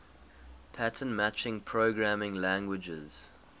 pattern matching programming languages